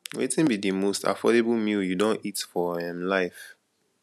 wetin be di most affordable meal you don eat for um life